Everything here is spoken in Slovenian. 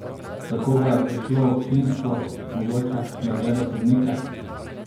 Za koga je prišlo občinstvo, mogoče, da gleda sodnike?